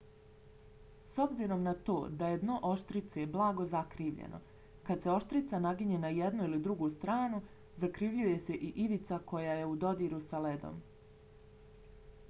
s obzirom na to da je dno oštrice blago zakrivljeno kad se oštrica naginje na jednu ili drugu stranu zakrivljuje se i ivica koja je u dodiru s ledom